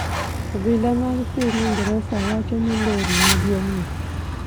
Obila mag piny Ingresa wacho ni lori maduong'no